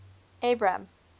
abram